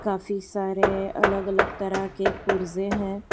काफी सारे अलग अलग तरह के पुर्जे हैं।